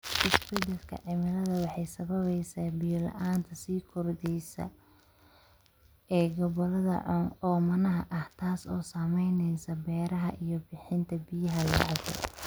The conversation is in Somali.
Isbeddelka cimiladu waxay sababaysaa biyo la'aanta sii kordheysa ee gobollada oomanaha ah, taas oo saameynaysa beeraha iyo bixinta biyaha la cabbo.